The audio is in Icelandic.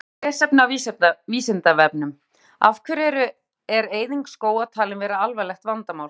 Frekara lesefni á Vísindavefnum: Af hverju er eyðing skóga talin vera alvarlegt vandamál?